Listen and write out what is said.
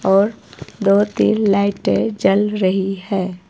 और दो तीन लाइटे जल रही है।